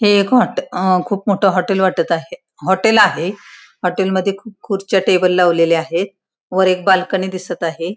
हे एक हॉट अ खुप मोठ हॉटेल वाटत आहे हॉटेल आहे हॉटेल मध्ये खुप खुर्च्या टेबल लावलेल्या आहे वर एक बाल्कनी दिसत आहे.